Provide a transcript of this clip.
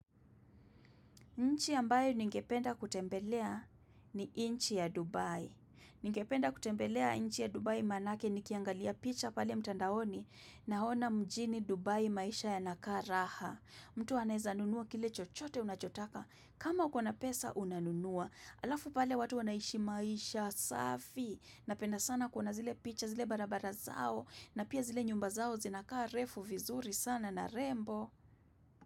Nchi ambayo ningependa kutembelea ni inchi ya Dubai. Ningependa kutembelea inchi ya Dubai manake nikiangalia picha pale mtandaoni na ona mjini Dubai maisha yanakaa raha. Mtu aneza nunua kile chochote unachotaka. Kama ukona pesa unanunua. Alafu pale watu wanaishi maisha safi. Napenda sana kuna zile picha zile barabara zao na pia zile nyumba zao zinakarefu vizuri sana na rembo.